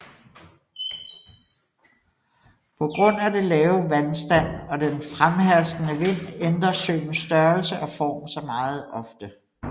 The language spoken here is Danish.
På grund af det lave vandstand og den fremherskende vind ændrer søens størrelse og form sig meget ofte